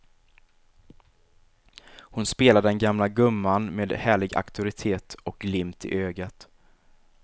Hon spelar den gamla gumman med härlig auktoritet och glimt i ögat.